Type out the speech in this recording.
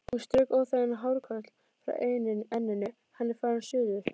Hún strauk óþægan hárlokk frá enninu: Hann er farinn suður